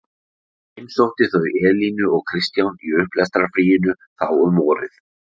Ég heimsótti þau Elínu og Kristján í upplestrarfríinu þá um vorið.